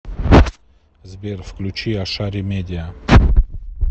сбер включи ашари медиа